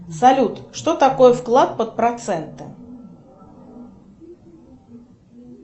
салют что такое вклад под проценты